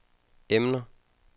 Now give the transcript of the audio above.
emner